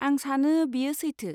आं सानो बेयो सैथो।